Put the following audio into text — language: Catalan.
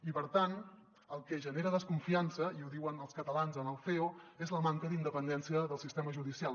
i per tant el que genera desconfiança i ho diuen els catalans en el ceo és la manca d’independència del sistema judicial